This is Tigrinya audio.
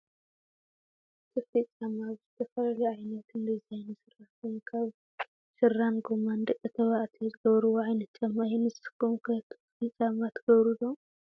ክፍቲ ጫማ ብዘተፈላለዩ ዓይነትን ዲዛይንን ዝስራሕ ኮይኑ ካብ ሻራን ጎማን ንደቂ ተባዕትዮ ዘገብርዎ ዓይነት ጫማ እዩ። ንስኩም ከ ክፍቲ ጫማ ትገብሩ ዶ ?